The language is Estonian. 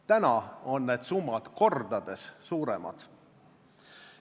Täna on need summad kordades suuremad.